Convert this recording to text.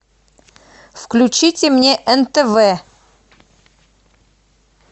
включите мне нтв